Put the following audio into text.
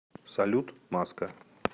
салют маска